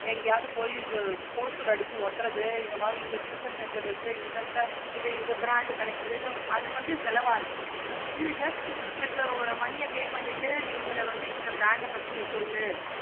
எங்கயாவது போயி poster அடிச்சி ஓட்டுறது இந்த மாதிரி tuition center இருக்கு. இந்த மாதிரி இதுல இந்த brand இருக்குது. அது வந்து செலவாகுது. இது just எங்களுக்கு money யா pay பண்ணிட்டு உங்கள வந்து இந்த brand ஆஹ் பத்தி சொல்லு.